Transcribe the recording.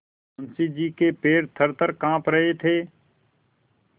मुंशी जी के पैर थरथर कॉँप रहे थे